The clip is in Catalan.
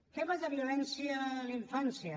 temes de violència a la infància